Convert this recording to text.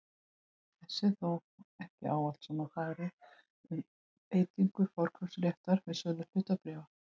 Þessu er þó ekki ávallt svona farið um beitingu forkaupsréttar við sölu hlutabréfa.